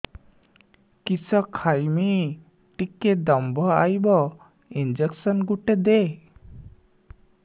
କିସ ଖାଇମି ଟିକେ ଦମ୍ଭ ଆଇବ ଇଞ୍ଜେକସନ ଗୁଟେ ଦେ